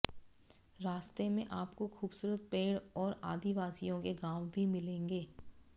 रास्ते में आपको खूबसूरत पेड़ और आदिवासियों के गांव भी मिलेंगे